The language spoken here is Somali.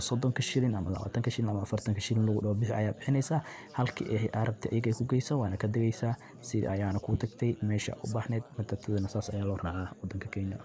sonodka, afaartanka ama lawatanka shilling bixi lagu daaxo biixi aya biixineysa halkii aa rabte marke kugeyso waana daages sidaa aya ku daagte mesha aa u baxneed Matatu daana saasa aya lo raaca waadanka Kenyan